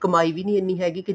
ਕਮਾਈ ਵੀ ਨੀ ਇੰਨੀ ਹੈਗੀ ਕੇ